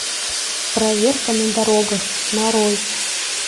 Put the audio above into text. проверка на дорогах нарой